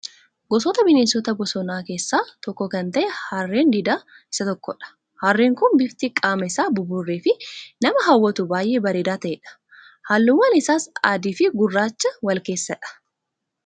Gosoota bineensota bosonaa keessaa tokko kan ta'e harreen diidaa Isa tokkodha. Harreen Kun bifti qaama isaa buburree fi nama hawwatu baay'ee bareedaa ta'edha. Halluuwwan isaas adii fi gurraacha wal keessadha.